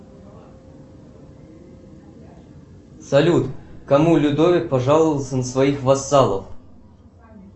салют кому людовик пожаловался на своих вассалов